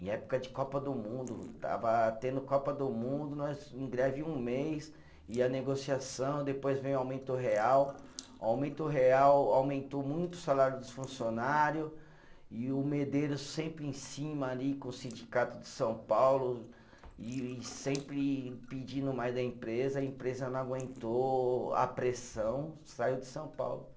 Em época de Copa do Mundo, estava tendo Copa do Mundo, nós em greve um mês, e a negociação, depois vem o aumento real, o aumento real aumentou muito o salário dos funcionário, e o Medeiros sempre em cima ali com o sindicato de São Paulo, e sempre pedindo mais da empresa, a empresa não aguentou a pressão, saiu de São Paulo.